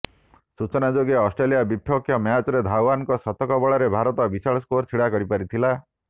ସୂଚନାଯୋଗ୍ୟ ଅଷ୍ଟ୍ରେଲିଆ ବିପକ୍ଷ ମ୍ୟାଚରେ ଧାୱନଙ୍କ ଶତକ ବଳରେ ଭାରତ ବିଶାଳ ସ୍କୋର ଛିଡ଼ା କରିପାରିଥିଲା